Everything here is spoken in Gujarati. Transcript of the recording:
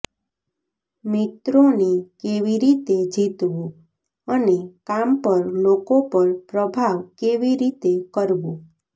મિત્રોને કેવી રીતે જીતવું અને કામ પર લોકો પર પ્રભાવ કેવી રીતે કરવો